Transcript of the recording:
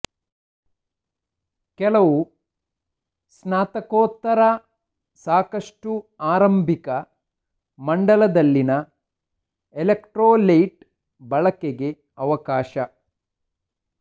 ಕೆಲವು ಸ್ನಾತಕೋತ್ತರ ಸಾಕಷ್ಟು ಆರಂಭಿಕ ಮಂಡಲದಲ್ಲಿನ ಎಲೆಕ್ಟ್ರೋಲೈಟ್ ಬಳಕೆಗೆ ಅವಕಾಶ